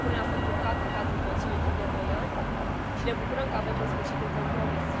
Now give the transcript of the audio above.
Propunerea a fost blocată în cadrul Consiliului timp de doi ani și ne bucurăm că avem, în sfârșit, un compromis.